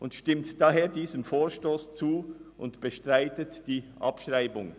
Sie stimmt daher diesem Vorstoss zu und bestreitet die Abschreibung.